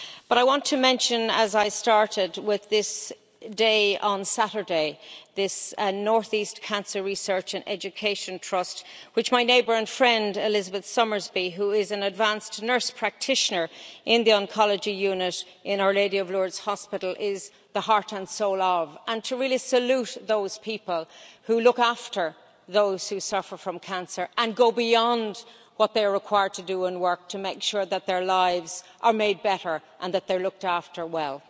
But I want to mention, as I started with, this day on Saturday, this North East Cancer Research and Education Trust which my neighbour and friend Elizabeth Summersby, who is an Advanced Nurse Practitioner in the Oncology Unit in Our Lady of Lourdes Hospital, is the heart and soul of and to really salute those people who look after those who suffer from cancer and go beyond what they're required to do and work to make sure that their lives are made better and that they're looked after well.